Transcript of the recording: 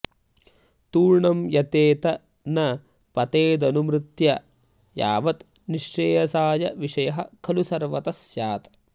तूर्णं यतेत न पतेदनुमृत्यु यावत् निःश्रेयसाय विषयः खलु सर्वतः स्यात्